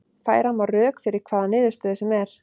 Færa má rök fyrir hvaða niðurstöðu sem er.